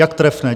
Jak trefné.